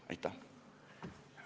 Aitäh!